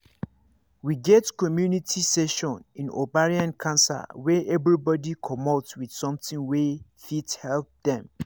we get community session in ovarian cancer wey everybody commot with something wey fit help dem